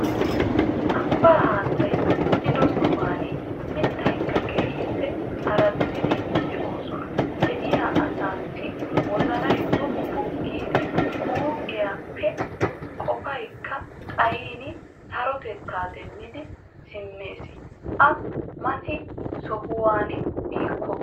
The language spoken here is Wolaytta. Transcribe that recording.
Abbaa haattay ziin"ido sohuwaan mittatikka keehippe araddidi de'iyoosan de'iyaa asaasi wozanay wooppu giidi huuphphiyaappe qoopaykka xaayin sarotettaa deemmidi siimmees a mati shemppanawu biikko.